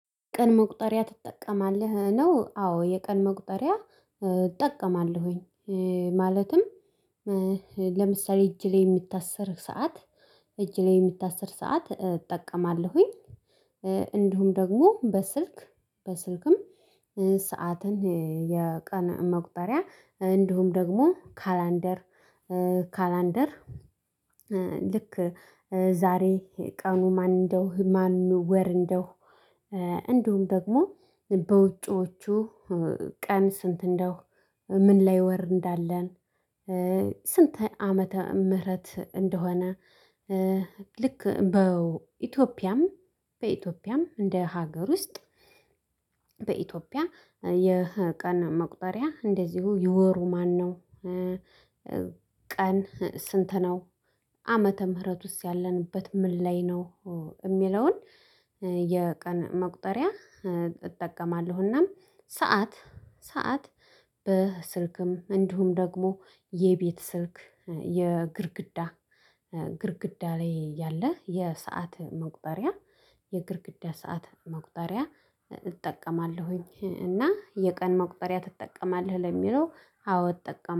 ቀን መቁጠሪያ ትጠቀማለህ? ነው አዎ የቀን መቁጠሪያ እጠቀማለሁኝ ማለትም ለምሳሌ እጅ ላይ የሚታሰር ሰዓት እጅ ላይ የሚታሰር ሰዓት እጠቀማለሁኝ እንዲሁም ደግሞ በስልክ በስልክም ሰዓትን የቀን መቁጠሪያ እንዲሁም ደግሞ ካላንደር ካላንደር ልክ ዛሬ ቀኑ ማን እንደው ማን ወር እንደው እንደውም ደግሞ በውጪዎቹ ቀን ስንት እንደው ምን ላይ ወር እንዳለን ስንት ዓመተ ምህረት እንደሆነ ልክ በኢትዮጵያም በኢትዮጵያም እንደ ሀገር ውስጥ በኢትዮጵያ የቀን መቁጠሪያ እንደዚሁ ይወሩ ማነው ቀን ስንት ነው ዓመተ ምህረቱስ ያለንበት ምን ላይ ነው እሚለውን የቀን መቁጠሪያ እጠቀማለሁና ሰዓት ሰዓት በስልክም እንዲሁም ደግሞ የቤት ስልክ የግርግዳ ግርግዳ ላይ ያለ የሰዓት መቁጠሪያ የግድግዳ ሰዓት መቁጠሪያ እጠቀማለሁኝ እና የቀን መቁጠሪያ ትጠቀማለህ ለሚለው አዎ እጠቀም